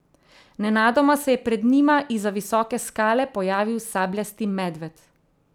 Nenadoma se je pred njima izza visoke skale pojavil sabljasti medved.